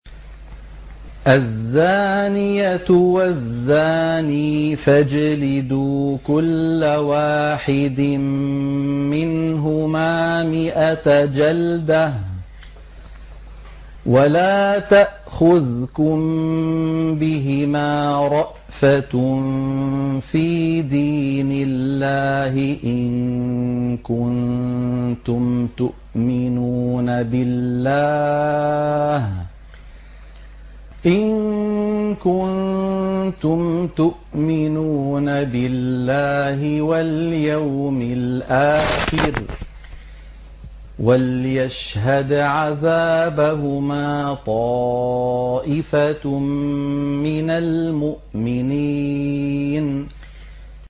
الزَّانِيَةُ وَالزَّانِي فَاجْلِدُوا كُلَّ وَاحِدٍ مِّنْهُمَا مِائَةَ جَلْدَةٍ ۖ وَلَا تَأْخُذْكُم بِهِمَا رَأْفَةٌ فِي دِينِ اللَّهِ إِن كُنتُمْ تُؤْمِنُونَ بِاللَّهِ وَالْيَوْمِ الْآخِرِ ۖ وَلْيَشْهَدْ عَذَابَهُمَا طَائِفَةٌ مِّنَ الْمُؤْمِنِينَ